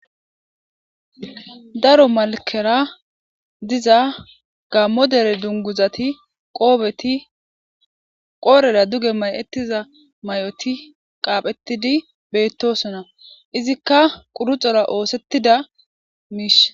daro malkera diza gammo dere dunguzati qoobeti qoorera duge may7ettiza may7oti qaaphetidi beettosona izikka quruxora oosettida miish